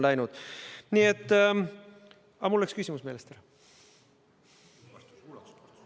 Aga mul läks küsimus meelest ära.